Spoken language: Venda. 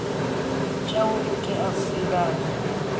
tshawe u tea u divhadzwa